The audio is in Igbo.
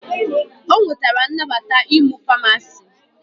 O nwetara nnabata ịmụ Famasi